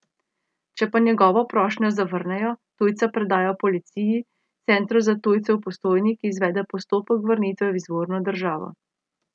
Če pa njegovo prošnjo zavrnejo, tujca predajo policiji, Centru za tujce v Postojni, ki izvede postopek vrnitve v izvorno državo.